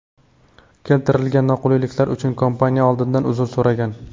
Keltirilgan noqulayliklar uchun kompaniya oldindan uzr so‘ragan.